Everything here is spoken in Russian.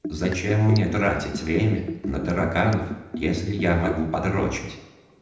зачем мне тратить время на тараканов если я могу п